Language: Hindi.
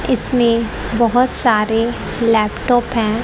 इसमें बहोत सारे लैपटॉप है।